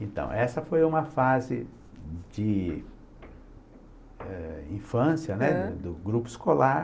Então, essa foi uma fase de eh infância né, do grupo escolar.